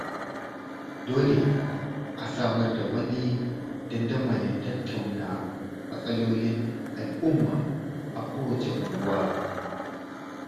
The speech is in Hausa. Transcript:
Dole a samar da wani dandamalin tattauna matsalolin al, umma a kowacce unguwa.